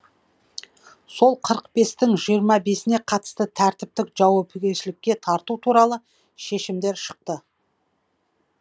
сол қырық бестің жиырма бесіне қатысты тәртіптік жауапкершілікке тарту туралы шешемдер шықты